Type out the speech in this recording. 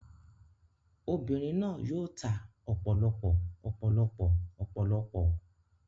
Obìnrin náà yóò ta ọ̀pọ̀lọpọ̀ ọ̀pọ̀lọpọ̀ ọ̀pọ̀lọpọ̀ ọ